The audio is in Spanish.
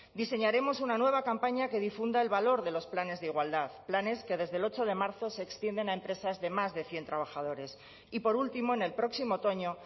diseñaremos una nueva campaña que difunda el valor de los planes de igualdad planes que desde el ocho de marzo se extienden a empresas de más de cien trabajadores y por último en el próximo otoño